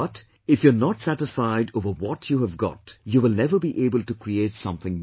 But if you are not satisfied over what you have got, you will never be able to create something new